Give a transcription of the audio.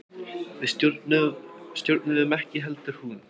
Við stjórnuðum ekki heldur hún.